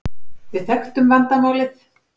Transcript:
Við þekktum vandamálið.